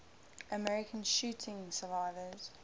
american shooting survivors